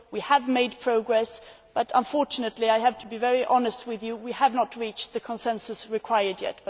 We have made progress but, unfortunately I have to be very honest with you we have not reached the consensus that is required yet.